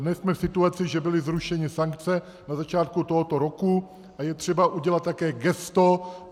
Dnes jsme v situaci, že byly zrušeny sankce na začátku tohoto roku a je třeba udělat také gesto.